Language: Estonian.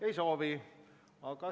Ei soovi.